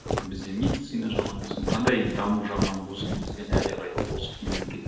бізде медицина жағынан болсын қандай даму жағынан болсын бізден әлдеқайда озық мемлекет